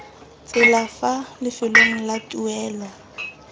tsela fa lefelong la tuelo